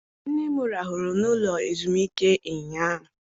Nne m rahụrụ n'ụlọ ezumike ụnyaahụ.